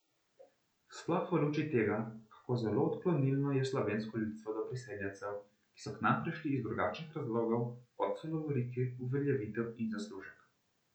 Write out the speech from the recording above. Sploh v luči tega, kako zelo odklonilno je slovensko ljudstvo do priseljencev, ki so k nam prišli iz drugačnih razlogov, kot so lovorike, uveljavitev in zaslužek.